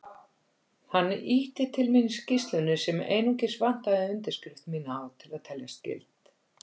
Hann ýtti til mín skýrslunni sem einungis vantaði undirskrift mína á til að teljast gild.